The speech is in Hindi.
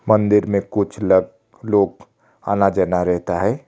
मंदिर में कुछ लग लोग आना जाना रहता है।